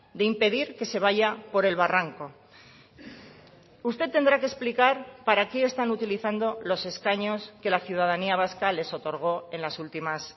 de impedir que se vaya por el barranco usted tendrá que explicar para qué están utilizando los escaños que la ciudadanía vasca les otorgó en las últimas